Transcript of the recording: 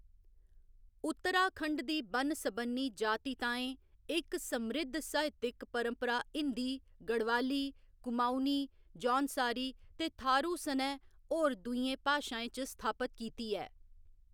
उत्तराखंड दी बन्न सबन्नी जातिताएं इक समृद्ध साहित्यक परंपरा हिंदी, गढ़वाली, कुमाऊनी, जौनसारी ते थारू सनै होर दूइयें भाशाएं च स्थापत कीती ऐ।